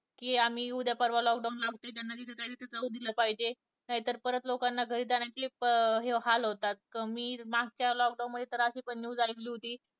कि आम्ही उद्या पर्वा लॉक डाउन लावतोय हे कळू दिलं पाहिजे नाही तर लोकांना घरी जाण्याचे अं हाल होतात कि मागच्या लॉकडाउन च्या वेळी मी अशी पण news ऐकली होती